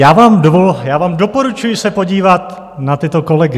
Já vám doporučuji se podívat na tyto kolegy.